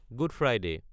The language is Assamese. good Friday